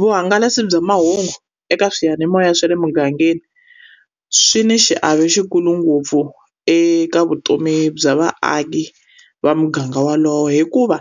Vuhangalasi bya mahungu eka swiyanimoya swa le mugangeni, swi na xiave xikulu ngopfu eka vutomi bya vaaki va muganga wolowo. Hikuva